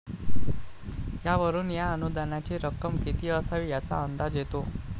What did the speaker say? यावरून या अनुदानाची रक्कम किती असावी याचा अंदाज येतो.